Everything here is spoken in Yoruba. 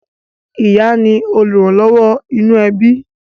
ìyá ni olùrànlọ́wọ́ inú ẹbí